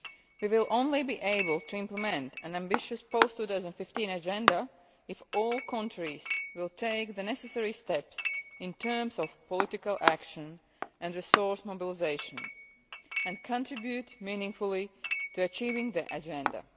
We will only be able to implement an ambitious post 2015 agenda if all countries take the necessary steps in terms of political action and resource mobilisation, and contribute meaningfully to achieving the agenda.